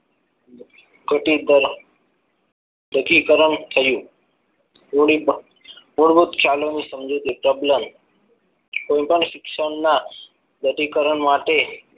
તૂટી ગ તૂટી કરણ થયુ થોડીક કોઈ પણ શિક્ષણના વ્યધીકરણ માટે